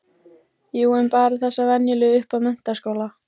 Jú en bara þessa venjulegu upp að menntaskóla.